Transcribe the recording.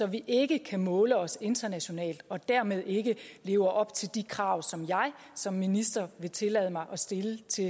vi ikke kan måle os internationalt og dermed ikke lever op til de krav som jeg som minister vil tillade mig at stille til